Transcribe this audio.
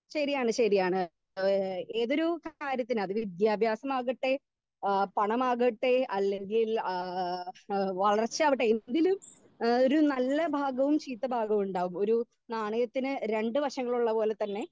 speaker 2 ശരിയാണ് ശരിയാണ് ഏഹ് ഏതൊരു കാര്യത്തിനും അത് വിദ്യാഭ്യാസമാകട്ടെ എഹ് പണമാകട്ടെ അല്ലെങ്കിൽ ഏഹ് എഹ് വളർച്ചയാവട്ടെ എന്തിലും ഏഹ് ഒരു നല്ല ഭാഗവും ചീത്ത ഭാഗവും ഇണ്ടാവും ഒരു നാണയത്തിന് രണ്ട് വശങ്ങളുള്ള പോലെതന്നെ